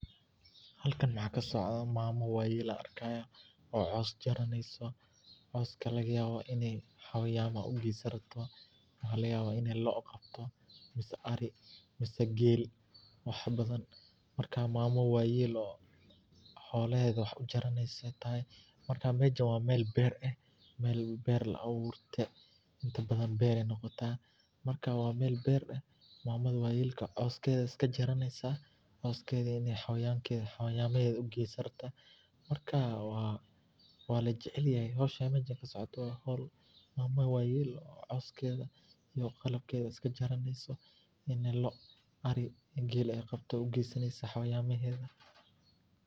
Halkan maxaa kasocdo mama ayan arki haya oo cos jaraneyso oo coska laga yawa in ee xola ugesan rabto laga yawa in ee lo qabto ama ari mase gel, marka mamo wayel oo coskeeda iska jaraneyso, geel ee qabto ugesani rabto.